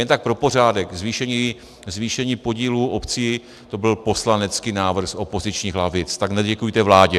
Jen tak pro pořádek, zvýšení podílu obcí, to byl poslanecký návrh z opozičních lavic, tak neděkujte vládě.